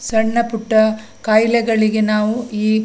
ಸಣ್ಣ ಪುಟ್ಟ ಖಾಯಿಲೆಗಳಿಗೆ ನಾವು ಈ --